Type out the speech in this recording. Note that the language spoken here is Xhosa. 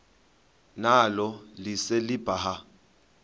nalo lise libaha